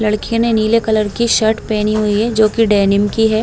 लड़के ने नीले कलर की शर्ट पहनी हुवी है जोकि डेनिम की है।